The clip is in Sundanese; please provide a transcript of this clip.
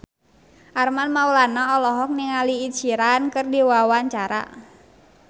Armand Maulana olohok ningali Ed Sheeran keur diwawancara